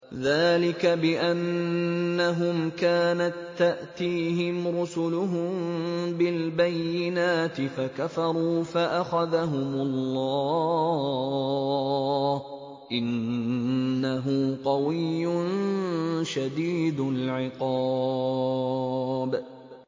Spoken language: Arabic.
ذَٰلِكَ بِأَنَّهُمْ كَانَت تَّأْتِيهِمْ رُسُلُهُم بِالْبَيِّنَاتِ فَكَفَرُوا فَأَخَذَهُمُ اللَّهُ ۚ إِنَّهُ قَوِيٌّ شَدِيدُ الْعِقَابِ